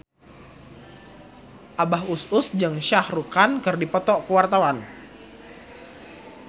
Abah Us Us jeung Shah Rukh Khan keur dipoto ku wartawan